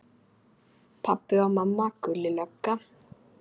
Pabbi og mamma, Gulli lögga.